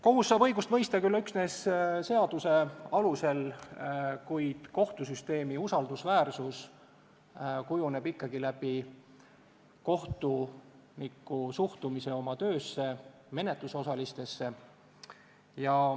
Kohus saab õigust mõista küll üksnes seaduse alusel, kuid kohtusüsteemi usaldusväärsus kujuneb ikkagi läbi kohtuniku suhtumise oma töösse, menetlusosalistesse.